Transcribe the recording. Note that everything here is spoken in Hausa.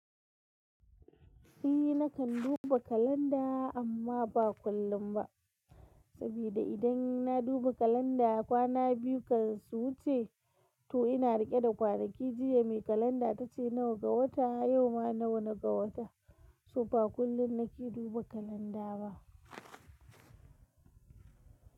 Ni nakan duba kalanda amma ba kullum ba, sabida idan na duba kalanda kwana biyu kan su wuce. To ina riƙe da kwanaki jiya, mai kalanda tace nawa ga wata, yau ma nawa ne ga wata, so ba kullum nake duba kalanda ba.